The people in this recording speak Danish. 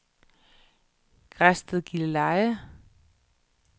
Græsted-Gilleleje